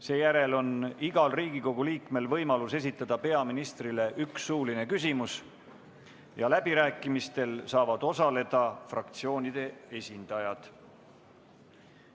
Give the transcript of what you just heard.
Seejärel on igal Riigikogu liikmel võimalus esitada peaministrile üks suuline küsimus ja läbirääkimistel saavad osaleda fraktsioonide esindajad.